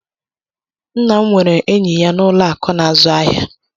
Nna' m nwere enyi ya n’ụlọ akụ̀ na-azụ ahịa.